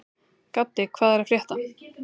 Gaddi, hvað er að frétta?